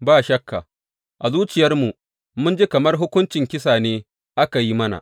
Ba shakka, a zuciyarmu mun ji kamar hukuncin kisa ne aka yi mana.